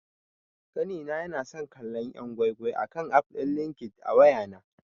Ƙanina yana son kallon yan' gwai-gwai akan aff din LinkedIn a wayana.